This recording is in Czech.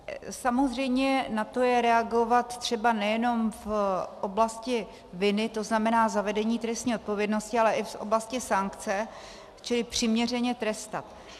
Samozřejmě na to je reagovat třeba nejenom v oblasti viny, to znamená zavedení trestní odpovědnosti, ale i v oblasti sankce, čili přiměřeně trestat.